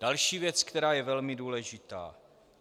Další věc, která je velmi důležitá.